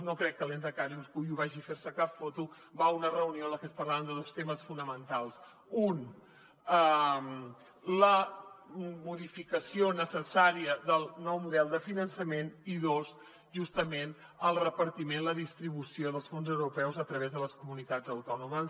no crec que el lehendakari urkullu vagi a ferse cap foto va a una reunió en la que es parlarà de dos temes fonamentals un la modificació necessària del nou model de finançament i dos justament el repartiment la distribució dels fons europeus a través de les comunitats autònomes